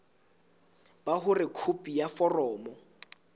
ba hore khopi ya foromo